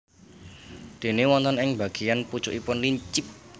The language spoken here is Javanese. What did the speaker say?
Déné wonten ing bageyan pucukipun lincip